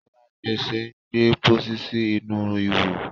alagbese ń gbé pósí sí inú Iwọ.